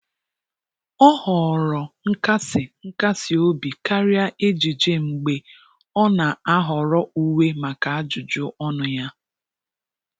Ọ họọrọ nkasi nkasi obi karịa ejiji mgbe ọ na-ahọrọ uwe maka ajụjụ ọnụ ya.